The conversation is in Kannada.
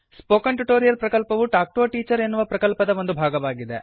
ಸ್ಪೋಕನ್ ಟ್ಯುಟೋರಿಯಲ್ ಪ್ರಕಲ್ಪವು ಟಾಕ್ ಟು ಎ ಟೀಚರ್ ಎನ್ನುವ ಪ್ರಕಲ್ಪದ ಒಂದು ಭಾಗವಾಗಿದೆ